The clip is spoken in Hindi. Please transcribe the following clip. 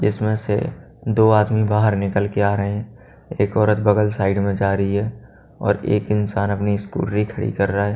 इसमें से दो आदमी बाहर निकल के आ रहे हैं एक औरत बगल साइड में जा रही है और एक इंसान अपनी स्कूटरी खड़ी कर रहा है।